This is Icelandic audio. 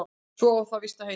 Svo á það víst að heita